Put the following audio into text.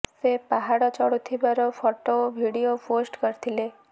ସେ ପାହାଡ଼ ଚଢୁଥିବାର ଫଟୋ ଓ ଭିଡିଓ ପୋଷ୍ଟ୍ କରିଥିଲେ